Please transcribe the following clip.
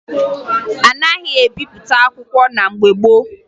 A naghị ebipụta akwụkwọ na mgbe gboo